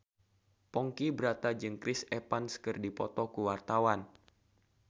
Ponky Brata jeung Chris Evans keur dipoto ku wartawan